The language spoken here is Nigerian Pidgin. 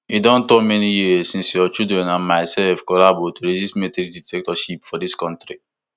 e don turn many years since your children and myself collabo to resist military dictatorship for dis kontri